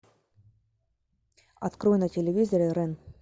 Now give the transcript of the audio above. открой на телевизоре рен